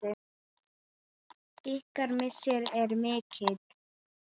Ykkar missir er mikill.